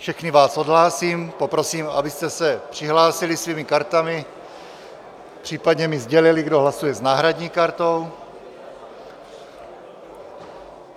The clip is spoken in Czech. Všechny vás odhlásím, poprosím, abyste se přihlásili svými kartami, případně mi sdělili, kdo hlasuje s náhradní kartou.